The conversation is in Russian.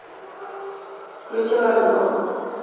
включи ля минор